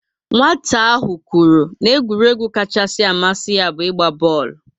Nwata ahụ kwuru na egwuregwu kachasị amasi ya bu igba booolu